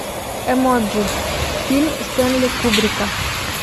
эмоджи фильм стэнли кубрика